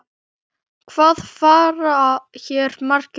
Hvað fara hér margir um?